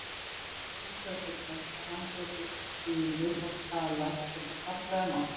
Óskaði sér þess að hann gæti skilið og talað þetta fallega mál.